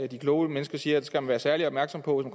de kloge mennersker siger vi skal være særlig opmærksomme på